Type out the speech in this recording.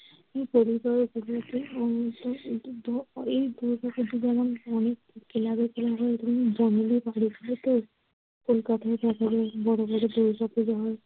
এই পরিবারে প্রধানত এ দুর্গাপূজা যেমন অনেক club এ club এ বাড়িগুলোতেও কলকাতা শহরে বড় বড় দুর্গাপূজা হয়।